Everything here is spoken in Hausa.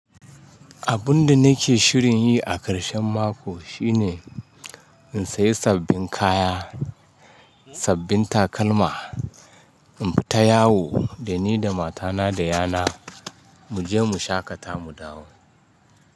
Abunda nake shirin yi a ƙarshen mako shine in sayi sabbin kaya, sabbin takalma, inta yawo da ni da matana da ƴana mu je mu shaƙata mu dawo.